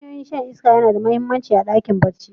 Hanyoyin shan iska yana da mahimmanci a cikin ɗakin barci.